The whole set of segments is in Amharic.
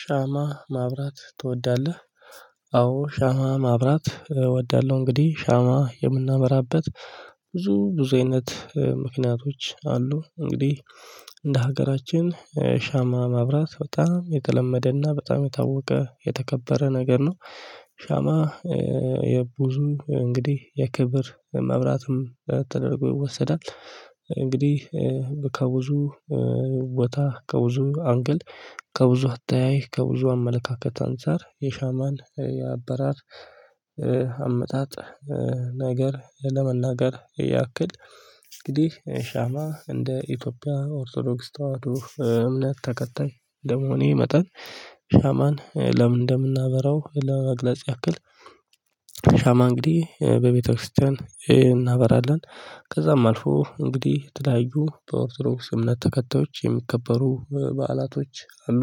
ሻማ ማብራት ትወዳለህ? አዎ ሻማ ማብራት እወዳለሁ። እንግዲህ ሻማ የምናበራበት ብዙ ብዙ አይነት ምክንያቶች አሉ። እንግዲህ እንደ ሀገራችን ሻማ ማብራት በጣም የተለመደና በጣም የታወቀ የተከበረ ነገር ነው። ሻማ የብዙ እንግዲህ የክብር መብራትም ተደርጎ ይወሰዳል። እንግዲህ ከብዙ ቦታ ከብዙ አንግል ከብዙ አተያይ ከብዙ አመለካከት አንፃር የሻማን የአበራር አመጣጥ ነገር ለመናገር ያክል እንግዲህ ሻማ እንደ ኢትዮጵያ ኦርቶዶክ ተዋህዶ እምነት ተከታይ ደሞኒ መጠን ሻማን ለምን እንደምናበራው ለመግለጽ ያክል። ሻማ እንግዲህ በቤተክርስቲያን እናበራለን። ከዛም አልፎ እንግዲህ ትላዩ በኦርቶሮስ እምነት ተከታዮች የሚከበሩ በዓላቶች አሉ።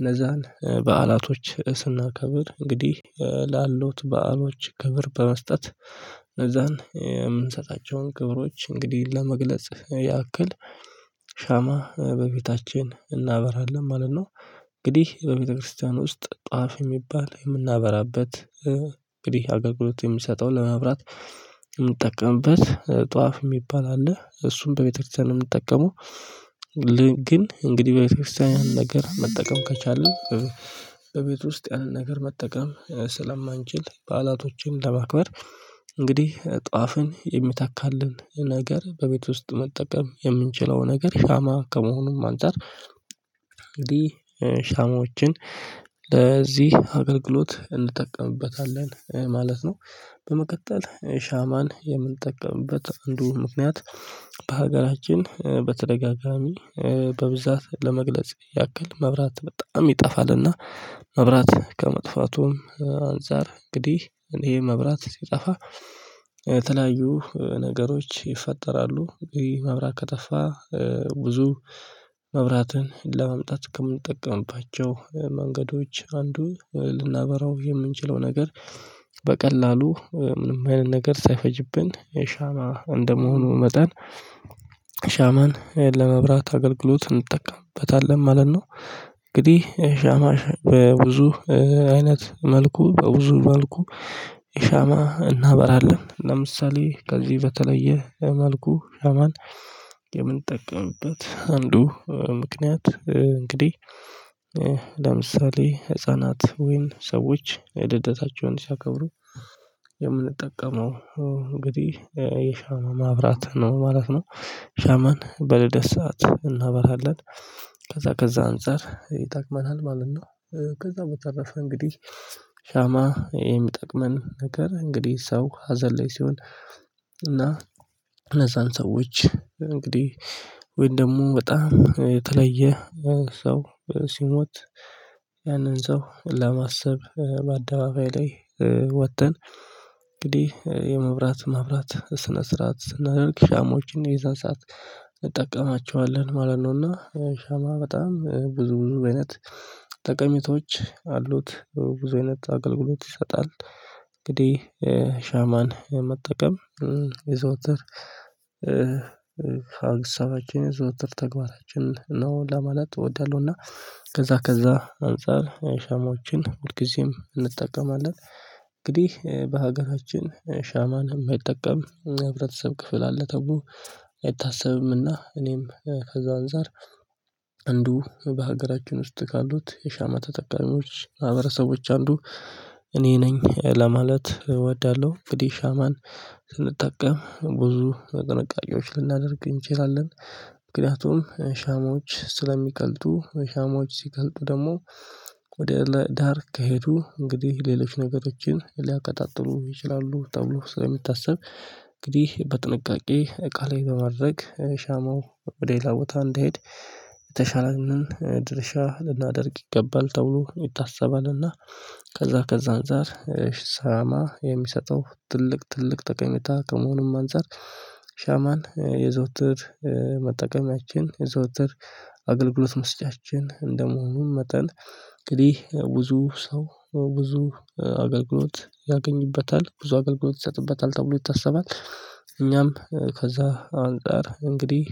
እነዛን በዓላቶች ስናከብር እንግዲህ ላሉት በዓሎች ክብር በመስጠት ለዛን የምንሰጣቸውን ክብሮች እንግዲህ ለመግለጽ ያክል ሻማ በቤታችን እናበራለን ማለት ነው። እንግዲህ በቤተክርስቲያን ውስጥ ጣፍ የሚባል የምናበራበት እንግዲህ አገልግሎት የምሰጠው ለመብራት የምጠቀምበት ጧፍ የሚባል አለ እሱን በቤተክርስቲያን ነው የምጠቀመው። ግን እንግዲህ በቤተክርስቲያን ነገር መጠቀም ከቻለ። በቤት ውስጥ ያለን ነገር መጠቀም ስለማንችል በዓላቶችን ለማክበር እንግዲህ ጧፍን የሚታካልን ነገር በቤት ውስጥ መጠቀም የምንችለው ነገር ሻማ ከመሆኑም አንፃር እንግዲህ ሻማዎችን ለዚህ አገልግሎት እንጠቀምበታለን ማለት ነው። በመቀጠል ሻማን የምንጠቀምበት እንደው ምክንያት በሀገራችን በተደጋጋሚ በብዛት ለመግለጽ ያክል መብራት በጣም ይጠፋልና። መብራት ከመጥፋቱም አንፃር እንግዲህ ይሄ መብራት ሲጠፋ የተለያዩ ነገሮች ይፈጠራሉ ይህ መብራት ከጠፋ። ብዙ መብራትን ለመምጣት ከምንጠቀምባቸው መንገዶች አንዱ ልናበራው የምንችለው ነገር። በቀላሉ ምንም አይነት ነገር ሳይፈጅብን የሻማ እንደመሆኑ መጠን። ሻማን ለመብራት አገልግሎት እንጠቀምበታለን ማለት ነው። እንግዲህ ሻማ በብዙ አይነት መልኩ በብዙ መልኩ ሻማ እናበራለን ለምሳሌ ከዚህ በተለየ መልኩ ሻማን የምንጠቀምበት አንዱ ምክንያት እንግዲህ ለምሳሌ ህፃናት ወይን ሰዎች ልደታቸውን ሲያከብሩ የምንጠቀመው እንግዲህ የሻማ ማብራት ነው ማለት ነው። ሻማን በልደስ ሰዓት እናበራለን ከዛ ከዛ አንፃር ይጠቅመናል ማለት ነው። ከዛ በተረፈ እንግዲህ ሻማ ይሄን የምጠቅመን ነገር እንግዲህ ሰው ሀዘን ላይ ሲሆን። እና እነዛን ሰዎች እንግዲህ ወይም ደግሞ በጣም የተለየ ሰው ሲሞት ያንን ሰው ለማሰብ በአደባባይ ላይ ወጥተን እንግዲህ የመብራት ማብራት ስነ ስርዓት ስናደርግ ሻሞችን የዛን ሰዓት እንጠቀማቸዋለን ማለት ነው። እና ሻማ በጣም ብዙ ብዙ አይነት ጠቀሜታዎች አሉት ብዙ አይነት አገልግሎት ይሰጣል። እንግዲህ ሻማን የመጠቀም የዘወትር አግሳችን የዘወትር ተግባራችን ነው ለማለት እወዳለሁና። ከዛ ከዛ አንፃር ሻሞችን ሁልጊዜም እንጠቀማለን። እንግዲህ በሀገራችን ሻማን የማይጠቀም ህብረተሰብ ክፍል አለ ተብሎ አይታሰብምና እኔም ከዛ አንፃር። አንዱ በሀገራችን ውስጥ ካሉት የሻማ ተጠቃሚዎች ማህብረሰቦች አንዱ እኔ ነኝ ለማለት እወዳለሁ። እንግዲህ ሻማን ስንጠቀም ብዙ ቅንቃጫዎች ልናደርግ እንችላለን። ምክንያቱም ሻሞች ስለሚቀልጡ ሻሞች ሲቀልጡ ደግሞ ወደ ላይ ዳርክ ከሄዱ እንግዲህ ሌሎች ነገሮችን ሊያቀጣጥሉ ይችላሉ ተብሎ ስለሚታሰብ እንግዲህ በጥንቃቄ እቃ ላይ በማድረግ ሻማው ሌላ ቦታ እንድሄድ። የተሻለ ነው ድርሻ ልናደርግ ይገባል ተብሎ ይታሰባልና። ከዛ ከዛ አንፃር ሻማ የሚሰጠው ትልቅ ትልቅ ጠቀሜታ ከመሆኑም አንፃር ሻማን የዘውትር መጠቀሚያችን የዘውትር አገልግሎት መስጫችን እንደመሆኑም መጠን እንግዲህ ብዙ ሰው ብዙ አገልግሎት ያገኝበታል ብዙ አገልግሎት ይሰጥበታል ተብሎ ይታሰባል። እኛም ከዛ አንፃር እንግዲህ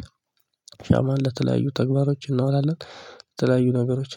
ሻማን ለተለያዩ ተግባሮች እናውላለን። ለተለያዩ ነገሮች